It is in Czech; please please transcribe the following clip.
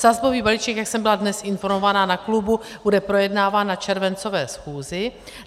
Sazbový balíček, jak jsem byla dnes informována na klubu, bude projednáván na červencové schůzi.